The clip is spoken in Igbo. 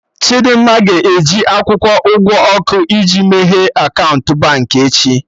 Chidimma ga-eji akwụkwọ ụgwọ ọkụ iji meghee akaụntụ Baankị echi